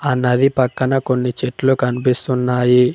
ఆ నది పక్కన కొన్ని చెట్లు కనిపిస్తున్నాయి.